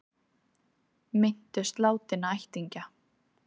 Minntust látinna ættingja